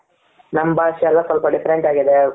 ನಮ್ ಭಾಷೆ ಎಲ್ಲ ಸ್ವಲ್ಪ different ಆಗಿದೆ.